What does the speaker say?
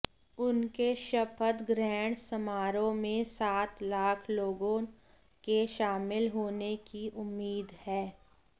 उनके शपथग्रहण समारोह में सात लाख लोगों के शामिल होने की उम्मीद है